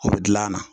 O bɛ dilan